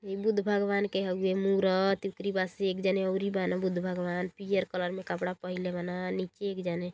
ई बुद्ध भगवान के हउवे मूरत ओकरी बाद से एक जाने अउरी बान बुद्ध भगवान। पीयर कलर में कपड़ा पहीनले बान। नीचे एक जाने --